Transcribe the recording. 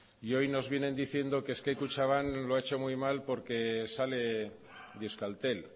y hoy nos vienen diciendo que es que kutxabank lo ha hecho muy mal porque sale de euskaltel